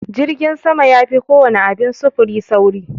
Jirgin sama yafi kowana abin sufuri saurin.